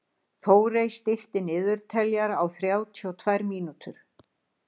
Þórey, stilltu niðurteljara á þrjátíu og tvær mínútur.